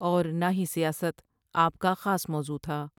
اور نہ ہی سیاست آپ کا خاص موضوع تھا ۔